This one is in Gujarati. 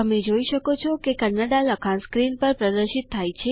તમે જોઈ શકો છો કે કન્નડા લખાણ સ્ક્રીન પર પ્રદર્શિત થાય છે